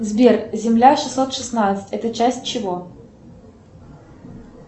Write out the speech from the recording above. сбер земля шестьсот шестнадцать это часть чего